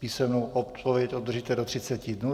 Písemnou odpověď obdržíte do 30 dnů.